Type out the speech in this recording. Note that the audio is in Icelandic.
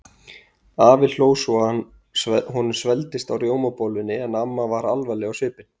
Afi hló svo honum svelgdist á rjómabollunni en amma var alvarleg á svipinn.